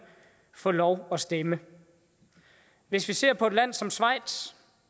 få lov at stemme hvis vi ser på et land som schweiz